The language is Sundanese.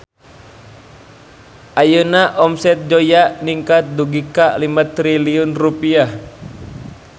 Ayeuna omset Zoya ningkat dugi ka 5 triliun rupiah